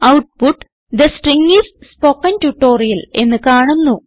output the string is spoken tutorial എന്ന് കാണുന്നു